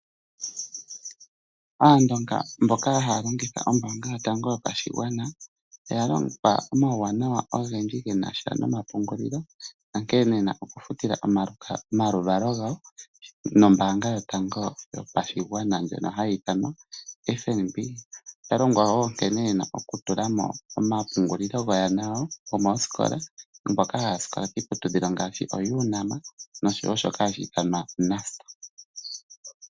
Aandonga mboka haalongitha ombaanga yotango yopashigwana, oyalongwa omauwanawa ogendji genasha nomapungulilo, onkee yena oku futila omaluvalo gawo nombaanga yotango yopashigwana ndjono hayiithanwa FNB. Oyalongwa wo nkene yena oku tulamo omapungulilo goyana yawo gomooskola, mboka hayasikola kiiputudhilo ngaashi oUnam nosho wo shoka hashi ithanwa Nust.